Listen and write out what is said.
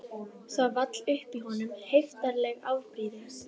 Það vall upp í honum heiftarleg afbrýði